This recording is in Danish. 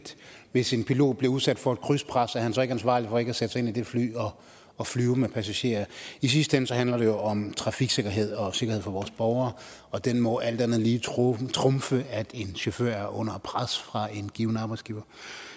hvis en pilot bliver udsat for et krydspres er han så ikke ansvarlig for ikke at sætte sig ind i det fly og flyve med passagerer i sidste ende handler det jo om trafiksikkerhed og sikkerhed for vores borgere og det må alt andet lige trumfe trumfe at en chauffør er under pres fra en given arbejdsgiver